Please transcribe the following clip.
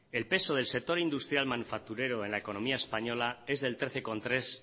el peso del sector industrial manufacturero en la economía española es del trece coma tres